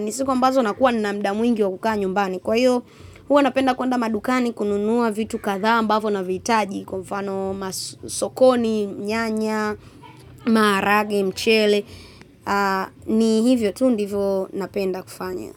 Ni siku ambazo nakuwa nina muda mwingi wa kukaa nyumbani. Kwa hiyo, huwa napenda kuenda madukani kununua vitu kadhaa ambavo navihitaji. Kwa mfano masokoni, nyanya, maharage, mchele. Ni hivyo tu ndivo napenda kufanya.